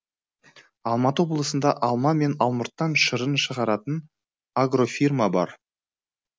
алматы облысында алма мен алмұрттан шырын шығаратын агрофирма бар